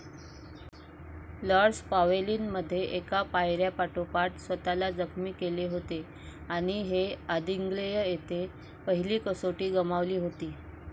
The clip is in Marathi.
लॉर्डस पावेलींमध्ये एका पायऱ्यापाठोपाठ स्वतःला जखमी केले होते आणि हेअदिन्ग्लेय येथे पहिली कसोटी गमावली होती.